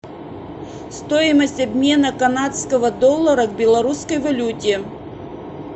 стоимость обмена канадского доллара к белорусской валюте